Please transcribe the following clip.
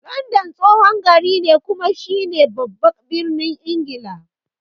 London tsohon gari ne kuma shi ne baban birnin Ingila.